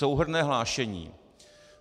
Souhrnné hlášení.